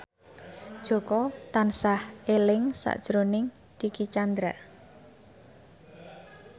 Jaka tansah eling sakjroning Dicky Chandra